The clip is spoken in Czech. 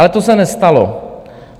Ale to se nestalo.